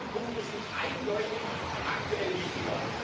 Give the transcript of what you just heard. Diese Punkte sind eindeutig aktuell wichtiger.